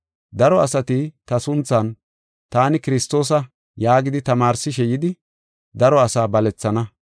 Daro asati ta sunthan, ‘Taani Kiristoosa’ yaagidi tamaarsishe yidi, daro asaa balethana.